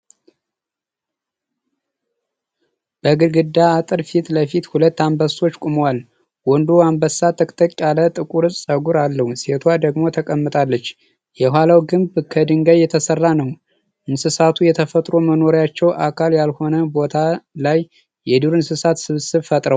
በግድግዳ አጥር ፊት ለፊት ሁለት አንበሶች ቆመዋል። ወንዱ አንበሳ ጥቅጥቅ ያለ ጥቁር ጸጉር አለው፣ ሴቷ ደግሞ ተቀምጣለች። የኋላው ግንብ ከድንጋይ የተሰራ ነው። እንስሳቱ የተፈጥሮ መኖሪያቸው አካል ያልሆነ ቦታ ላይ የዱር እንስሳት ስብስብ ፈጥረዋል።